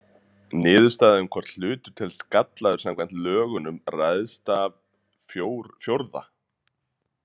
Niðurstaða um það hvort hlutur telst gallaður samkvæmt lögunum ræðst af IV.